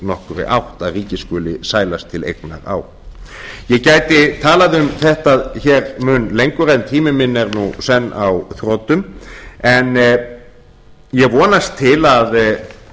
nokkurri átt að ríkið skuli sælast til eignar á ég gæti talað um þetta mun lengur en tími minn er nú senn á þrotum en ég vonast til að